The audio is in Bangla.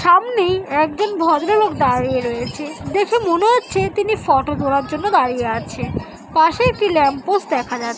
সামনেই একজন ভদ্রলোক দাঁড়িয়ে রয়েছে দেখে মনে হচ্ছে তিনি ফটো তোলার জন্য দাঁড়িয়ে আছে। পাশে একটি ল্যাম্প পোস্ট দেখা--